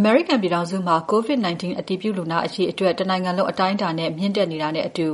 အမေရိကန်ပြည်ထောင်စုမှာ COVID-19 အတည်ပြုလူနာအရေအတွက် တနိုင်ငံလုံးအတိုင်းအတာနဲ့ မြင့်တက်နေတာနဲ့အတူ